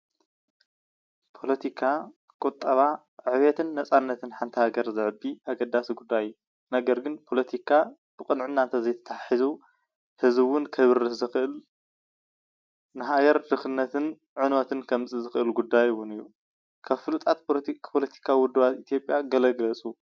ፖሊቲካ ቁጠባ ዕብየትን ናፃነትን ንሓቲ ሃገር ዘዕቢ ኣገዳሲ ጉዳይ እዩ፡፡ ነገር ግን ፖለቲካ ብቅንዕና እንተዘይተታሒዙ ህዝቢ እውን ከብርስ ዝክእል ንሃገር ድክነትን ዕነወትን ከምፅእ ዝክእል ጉዳይ እውን እዩ፡፡ ካብ ፉሉጣት ፖለቲካ ውድባት ኢትዮጵያ ገለ ግለፁ?